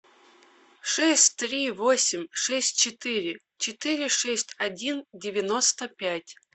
шесть три восемь шесть четыре четыре шесть один девяносто пять